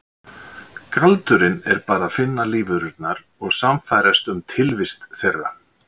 Galdurinn er bara að finna lífverurnar og sannfærast um tilvist þeirra.